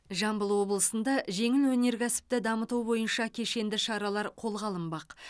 жамбыл облысында жеңіл өнеркәсіпті дамыту бойынша кешенді шаралар қолға алынбақ